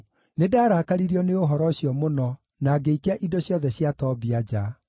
Nĩndarakaririo nĩ ũhoro ũcio mũno na ngĩikia indo ciothe cia Tobia nja.